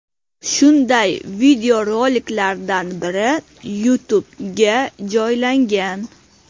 Shunday videoroliklardan biri YouTube ’ga joylangan.